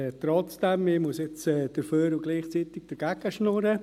Trotzdem muss ich aber dafür und gleichzeitig dagegen schwatzen.